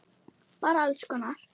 Bara alls konar.